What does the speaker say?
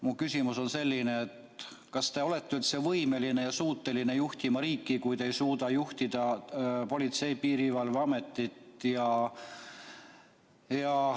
Mu küsimus on selline: kas te olete üldse võimeline ja suuteline juhtima riiki, kui te ei suuda juhtida Politsei- ja Piirivalveametit?